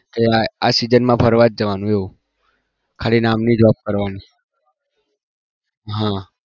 જો આ આ season મા જ ફરવા જવાનું એવું ખાલી નામ ની જ job કરવાની હા